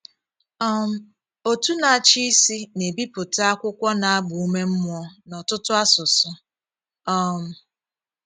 um Òtù Na-achị Isi na-ebipụta akwụkwọ na-agba ume mmụọ n’ọtụtụ asụsụ. um